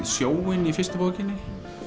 sjóinn í fyrstu bókinni